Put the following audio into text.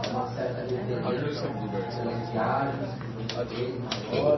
É uma certa referência pelas viagens que você fez, maior.